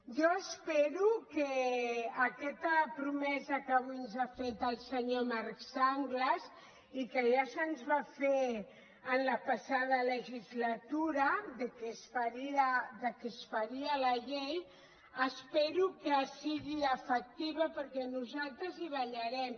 jo espero que aquesta promesa que avui ens ha fet el senyor marc sanglas i que ja se’ns va fer en la passada legislatura que es faria la llei espero que sigui efectiva perquè nosaltres hi vetllarem